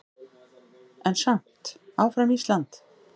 En samt áfram Ísland!